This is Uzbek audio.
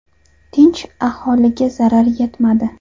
Tinch aholiga zarar yetmadi.